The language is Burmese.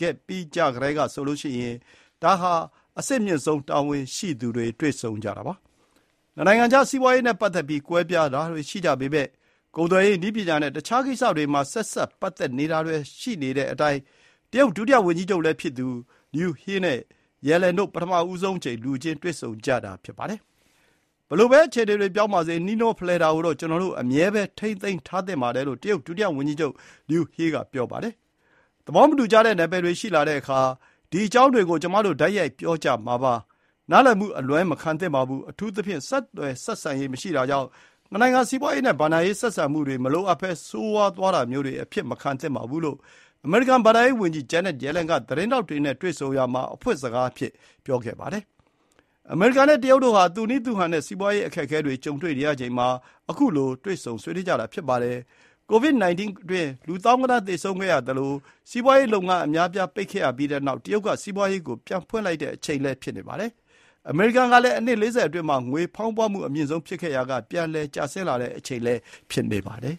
ခဲ့ကြပြီးကတည်းကဆိုရင် ဒါဟာ ပထမဆုံး အဆင့်အမြင့်ဆုံး တာဝန်ရှိသူတွေ တွေ့ဆုံကြတာပါ။ နှစ်နိုင်ငံအကြား စီးပွါးရေးနဲ့ ပတ်သက်ပြီး ကွဲပြားတာတွေ ရှိကြပေမယ့် ကုန်သွယ်ရေး၊ နည်းပညာ နဲ့ တခြား ကိစ္စတွေ မှာ ဆက်စပ်ပတ်သက်နေတာတွေလည်း ရှိနေတဲ့အတိုင်း တရုတ်ဒုတိယဝန်ကြီးချုပ်လည်းဖြစ်သူ လျူဟော် (Liu He) နဲ့ ရယ်လန်တို့ ပထမဆုံးအကြိမ် လူချင်းတွေ့ဆုံဖြစ်ကြတာ ဖြစ်ပါတယ်။ “ဘယ်လိုပဲ အခြေအနေတွေ ပြောင်းပါစေ၊ နှီးနှောဖလှယ်တာကိုတော့ ကျွန်တော်တို့ အမြဲပဲ ထိန်းသိမ်းထားသင့်ပါတယ် လို့ တရုတ်ဒုဝန်ကြီးချုပ်လျူဟော်က ပြောပါတယ်။ “သဘောမတူကြတဲ့ နယ်ပယ်တွေ ရှိလာတဲ့အခါ၊ ဒီ အကြောင်းတွေ ကို ကျွန်မတို့ တိုက်ရိုက် ပြောကြမှာပါ။ နားလည်မှု အလွဲမခံသင့်ပါဘူး။ အထူးသဖြင့် ဆက်သွယ်ဆက်ဆံရေး မရှိတာကြောင့် နှစ်နိုင်ငံ စီးပွါးရေးနဲ့ ဘဏ္ဍာရေး ဆက်ဆံမှုတွေ မလိုအပ်ဘဲ ဆိုးဝါးသွားတာမျိုးတွေ အဖြစ်မခံသင့်ပါဘူး” လို့ အမေရိကန် ဘဏ္ဍာရေးဝန်ကြီးဂျန်းနက်ရယ်လန်က သတင်းထောက်တွေနဲ့ တွေ့ဆုံရာမှာ အဖွင့်စကားအဖြစ် ပြောခဲ့ပါတယ်။ အမေရိကန် နဲ့ တရုတ်တို့ ဟာ သူ့နည်းသူ့ဟန် နဲ့ စီးပွါးရေး အခက်အခဲတွေ ကြုံတွေ့နေရချိန်မှာ ခုလို တွေ့ဆုံဆွေးနွေးကြတာ ဖြစ်ပါတယ်။ Covid-19 အတွင်း လူသောင်းဂဏန်း သေဆုံးခဲ့ရသလို၊ စီးပွါးလုပ်ငန်း အများအပြား ပိတ်ခဲ့ရပြီးတဲ့နောက် တရုတ်က စီးပွါးရေးကို ပြန်ဖွင့်လိုက်တဲ့ အချိန်လည်း ဖြစ်ပါတယ်။ အမေရိကန်ကလည်း အနှစ် ၄၀ အတွင်းမှာ ငွေဖောင်းပွမှု အမြင့်ဆုံး ဖြစ်ခဲ့ရာက ပြန်လည် ကျဆင်းလာတဲ့ အချိန် ဖြစ်နေပါတယ်။